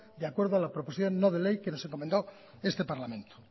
de acuerdo a la proposición no de ley que nos encomendó este parlamento